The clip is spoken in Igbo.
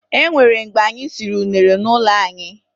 E nwere mgbe anyị siri unere n'ụlọ anyị.